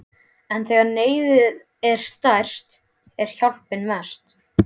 En þegar neyðin er stærst er hjálpin næst.